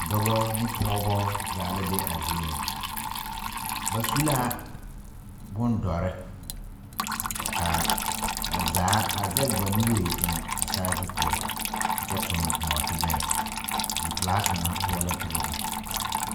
Dɔba ne pɔgeba zaa la be a zie ŋa ba su la bondɔre ka ba zaa a zɛge ba nuuri eŋ a saazu poɔ a kyɛ toŋ nɔɔtebɛrɛ zipelaa kaŋa poɔ la ka ba be.